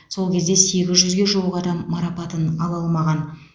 сол кезде сегіз жүзге жуық адам марапатын ала алмаған